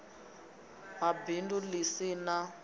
ha bindu ḽi si ḽa